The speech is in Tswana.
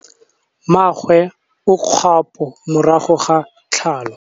Mmagwe o kgapô morago ga tlhalô.